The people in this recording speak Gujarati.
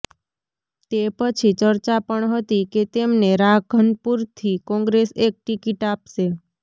તે પછી ચર્ચા પણ હતી કે તેમને રાધનપુરથી કોંગ્રેસ એક ટિકિટ આપશે